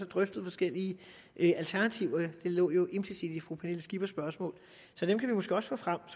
drøftet forskellige alternativer det lå jo implicit i fru pernille skippers spørgsmål så dem kan vi måske også få frem